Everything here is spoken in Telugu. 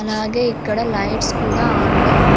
అలాగే ఇక్కడ లైట్స్ కూడా అన్ లో ఉన్--